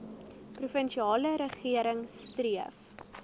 provinsiale regering streef